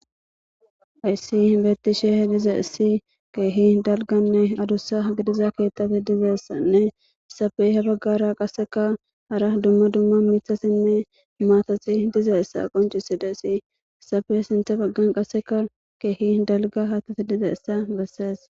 ayssi hinbettishe he diza issi keehi dalganne adussa gidiza keettafi dizeessanne safeyhe baggara qasseka hara dumma dumma mitha sinne maatati diza issa qonciside si safe sinte baggan qasseka keehi dalga haatafi diza issa bessees